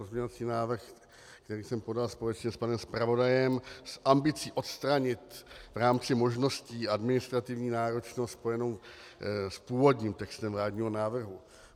Pozměňující návrh, který jsem podal společně s panem zpravodajem s ambicí odstranit v rámci možností administrativní náročnost spojenou s původním textem vládního návrhu.